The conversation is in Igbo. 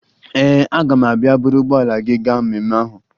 Ee, aga m abịa buru ụgbọala gị gaa mmemme ahụ